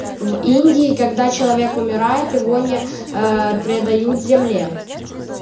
в индии когда человек умирает его не предают земле